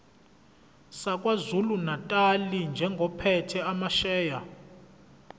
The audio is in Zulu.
sakwazulunatali njengophethe amasheya